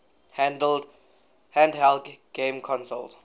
handheld game consoles